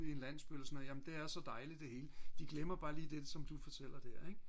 i en landsby eller sådan noget jamen det er så dejligt det hele de glemmer bare lige det som du fortæller der ik